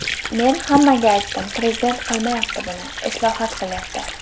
Men hammaga aytdim, prezident qilmayapti buni, islohot qilyapti.